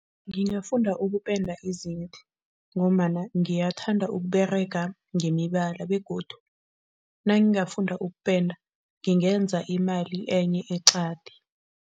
Ngingafunda ukupenda izinto ngombana ngiyathanda ukuberega ngemibala begodu nangingafunda ukupenda ngingenza imali enye eqadi.